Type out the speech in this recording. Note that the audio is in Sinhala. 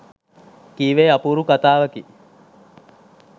කීවේ අපූරු කතාවකි